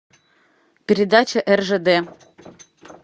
передача ржд